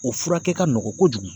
O furakɛ ka nɔgɔ kojugu.